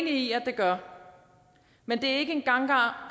i at det gør men det er ikke en gangbar